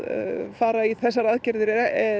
fara í þessar aðgerðir